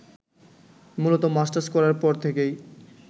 মূলত মাস্টার্স করার পর থেকেই